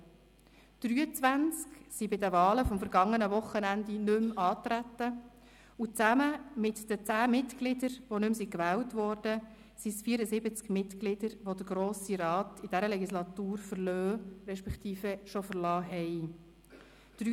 23 traten bei den Wahlen am vergangenen Wochenende nicht mehr an, und zusammen mit den 10 Mitgliedern, die nicht mehr gewählt wurden, sind es 74 Mitglieder, welche den Grossen Rat in dieser Legislatur verlassen respektive bereits verlassen haben.